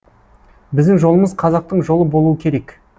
біздің жолымыз қазақтың жолы болуы керек